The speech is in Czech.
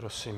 Prosím.